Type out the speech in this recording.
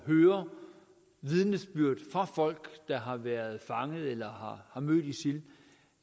høre vidnesbyrd fra folk der har været fanget eller har mødt isil